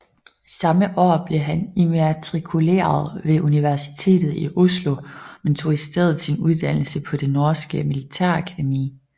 Samme år blev han immatrikuleret ved Universitetet i Oslo men tog i stedet sin uddannelse på det norske militærakademi